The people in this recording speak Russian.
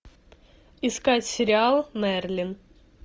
искать сериал мерлин